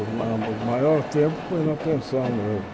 O maior maior tempo foi na pensão mesmo.